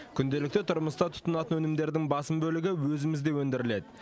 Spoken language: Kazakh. күнделікті тұрмыста тұтынатын өнімдердің басым бөлігі өзімізде өндіріледі